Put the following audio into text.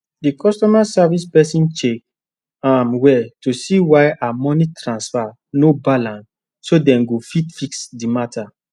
the customer service person check um well to seewhy her money transfer no balance so dem go fit fix the matter